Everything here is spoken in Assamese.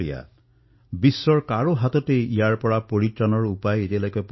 এক এনেকুৱা আপদ যাৰ বাবে বিশ্বৰ কাৰোৰে ওচৰত কোনো চিকিৎসা নাই যাৰ কোনো অভিজ্ঞতা নাই